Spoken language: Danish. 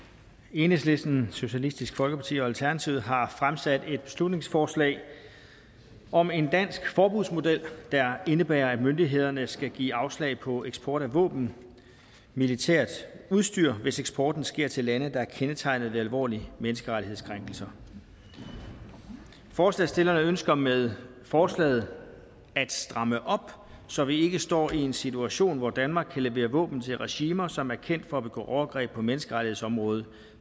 enhedslisten socialistisk folkeparti og alternativet har fremsat et beslutningsforslag om en dansk forbudsmodel der indebærer at myndighederne skal give afslag på eksport af våben og militært udstyr hvis eksporten sker til lande der er kendetegnet ved alvorlige menneskerettighedskrænkelser forslagsstillerne ønsker med forslaget at stramme op så vi ikke står i en situation hvor danmark kan levere våben til regimer som er kendt for at begå overgreb på menneskerettighedsområdet